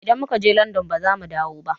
Idan mu ka je Landan baza mu dawo ba